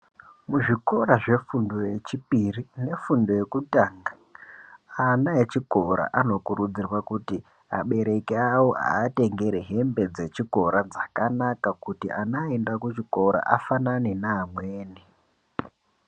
Muzvikora zvefundo yechipiri nefundo yekutanga ana echikora anokurudzirwa kuti abereki awo awatengere hembe dzechikora dzakanaka kuti ana aenda kuchikora afanana neamweni.